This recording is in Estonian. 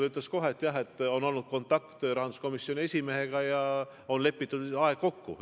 Ta ütles kohe, et on olnud kontakt rahanduskomisjoni esimehega ja on aeg kokku lepitud.